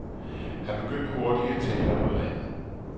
Han begyndte hurtigt at tale om noget andet.